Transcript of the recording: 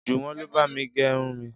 Jùwọ́n ló bá mi gẹ irun mi